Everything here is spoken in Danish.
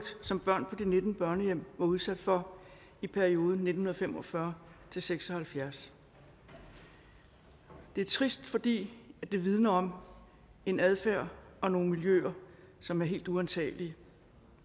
som børn på de nitten børnehjem var udsat for i perioden nitten fem og fyrre til seks og halvfjerds det er trist fordi det vidner om en adfærd og nogle miljøer som er helt uantagelige